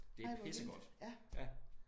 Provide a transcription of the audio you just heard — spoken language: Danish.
Det pissegodt ja